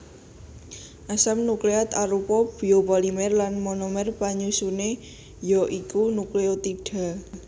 Asam nukleat arupa biopolimer lan monomer panyusuné ya iku nukleotida